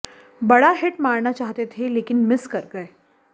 बड़ा हिट मारना चाहते थे लेकिन मिस कर गए